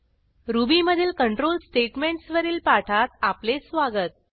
ruby मधील control statements वरील पाठात आपले स्वागत